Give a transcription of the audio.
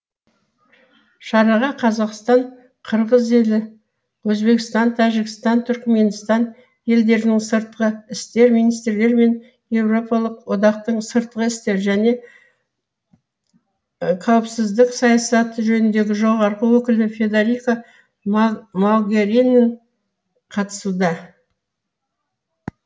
шараға қазақстан қырғыз елі өзбекстан тәжікстан түркіменстан елдерінің сыртқы істер министрлері мен еуропалық одақтың сыртқы істер және қауіпсіздік саясаты жөніндегі жоғарғы өкілі федерика могерини қатысуда